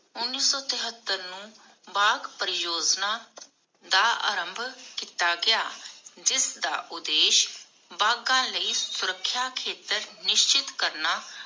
ਉਨੀਸ ਸੌ ਟਿਹੱਤਰ ਨੂੰ ਬਾਘ ਪਰਿਯੋਜਨਾ ਦਾ ਆਰੰਭ ਕੀਤਾ ਗਿਆ ਜਿਸਦਾ ਉਦੇਸ਼ ਬਾਘਾਂ ਲਈ ਸੁਰੱਖਿਆ ਖੇਤਰ ਨਿਸ਼ਚਿਤ ਕਰਨਾ